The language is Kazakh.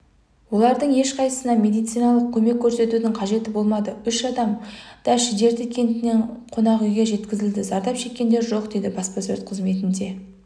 олардың ешқайсысына медициналық көмек көрсетудің қажеті болмады үш адам да шідерті кентіндегі қонақүйге жеткізілді зардап шеккендер жоқ дейді баспасөз қызметінде